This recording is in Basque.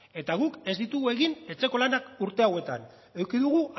eta guk ez ditugu egin etxeko lanak urte hauetan eduki dugu